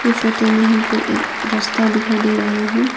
यह फोटो में हमको एक रास्ता दिखाई दे रहा है।